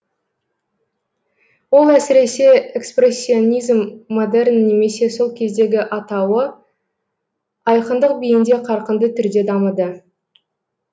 ол әсіресе экспрессионизм модерн немесе сол кездегі атауы айқындық биінде қарқынды түрде дамыды